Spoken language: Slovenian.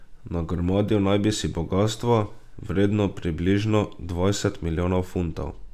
Nagrmadil naj bi si bogastvo, vredno približno dvajset milijonov funtov.